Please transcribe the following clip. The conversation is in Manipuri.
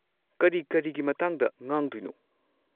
ꯀꯔꯤ ꯀꯔꯤꯒꯤ ꯃꯇꯥꯡꯗ ꯉꯥꯡꯗꯣꯏꯅꯣ?